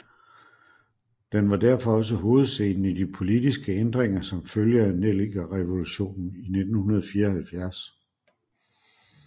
Den var derfor også hovedscenen i de politiske ændringer som følge af Nellikerevolutionen i 1974